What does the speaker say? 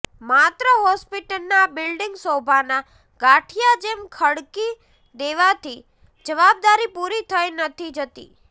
માત્ર હોસ્પિટલના બિલ્ડીંગ શોભાના ગાંઠીયા જેમ ખડકી દેવાથી જવાબદારી પુરી થઈ નથી જતી